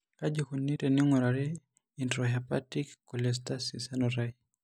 Kaji eikoni teneing'urari e intrahepatic cholestasis enutai?